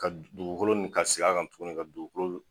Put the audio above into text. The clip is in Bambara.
Ka dugukolo ka sigikan tuguni ka dugukolo